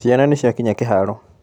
Ciana nĩciakinya kĩharo.